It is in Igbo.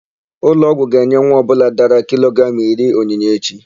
Ụlọọgwụ ga-enye nwa ọbụla dara kilogramụ iri onyinye echi.